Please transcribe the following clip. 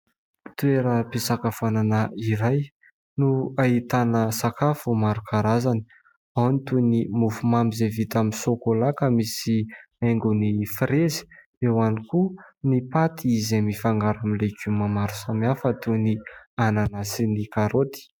Toeram·pisakafoanana iray no ahitana sakafo maro karazany ao ny toy ny mofo mamy izay vita amin'ny sokola ka misy haingony firezy, eo ihany koa ny paty izay mifangaro amin'ny legioma maro samihafa toy ny anana sy ny karaoty.